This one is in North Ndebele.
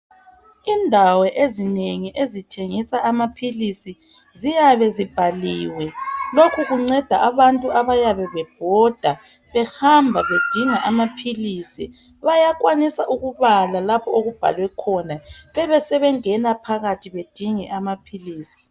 Indawo ezinengi ezithengisa amaphilisi ziyabe zibhaliwe lokhu kunceda abantu abayabe bebhoda behamba bedinga amaphilisi bayakwanisa ukubala lapho okubhalwe khona besebengena phakathi badinge amaphilisi.